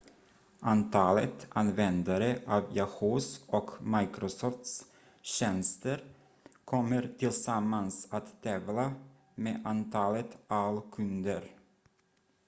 antalet användare av yahoo!s och microsofts tjänster kommer tillsammans att tävla med antalet aol-kunder